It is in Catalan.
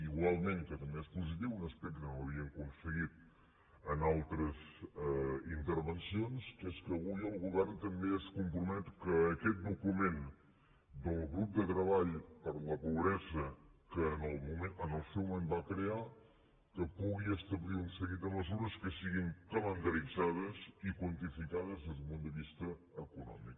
igualment que també és positiu un aspecte que no havíem aconseguit en altres intervencions que és que avui el govern també es compromet que aquest document del grup de treball per la pobresa que en el seu moment va crear pugui establir un seguit de mesures que siguin calendaritzades i quantificades des d’un punt de vista econòmic